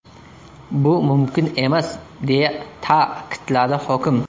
Bu mumkin emas”, deya ta’kidladi hokim.